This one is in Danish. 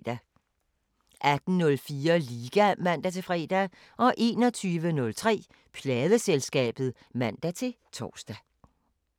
18:04: Liga (man-fre) 21:03: Pladeselskabet (man-tor)